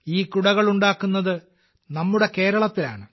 ഈ കുടകൾ ഉണ്ടാക്കുന്നത് നമ്മുടെ കേരളത്തിലാണ്